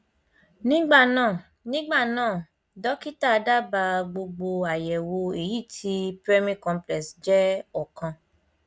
nígbà náà nígbà náà dọkítà dábàá gbogbo àyẹwò èyí tí primary complex jẹ ọkan